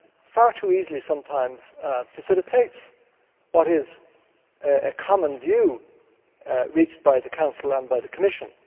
far too easily sometimes facilitates what is a common view reached by the Council and by the Commission.